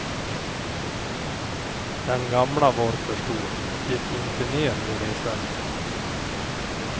Den gamla var för stor och gick inte ner i resväskan.